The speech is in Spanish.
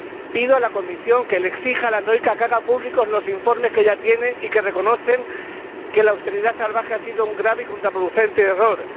Pido a la Comisión que exija a la troika que haga públicos los informes que ya tiene y que reconocen que la austeridad salvaje ha sido un grave y contraproducente error